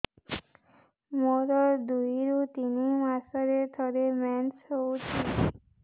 ମୋର ଦୁଇରୁ ତିନି ମାସରେ ଥରେ ମେନ୍ସ ହଉଚି